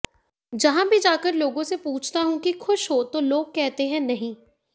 जहां भी जाकर लोगों से पूछता हूं कि खुश हो तो लोग कहते हैं नहीं